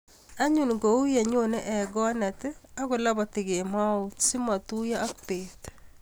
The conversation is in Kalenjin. anyun kou yenyonei ekonet ak koloboti kemout simotuiyo ak betut